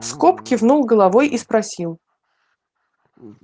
скоп кивнул головой и спросил